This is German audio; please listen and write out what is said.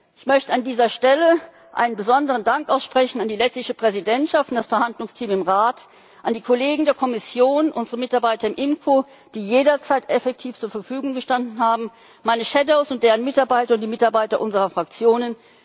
Ich möchte an dieser Stelle einen besonderen Dank aussprechen an die lettische Präsidentschaft und das Verhandlungsteam im Rat, an die Kollegen der Kommission, unsere Mitarbeiter im IMCO Ausschuss, die jederzeit effektiv zur Verfügung gestanden haben, meine Shadows und deren Mitarbeiter und die Mitarbeiter unserer Fraktionen.